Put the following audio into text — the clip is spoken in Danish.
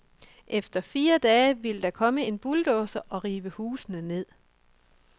Efter fire dage ville der komme en bulldozer og rive husene ned.